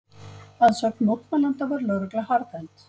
Að sögn mótmælenda var lögregla harðhent